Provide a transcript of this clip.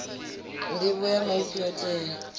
nḓivho ya maipfi yo tea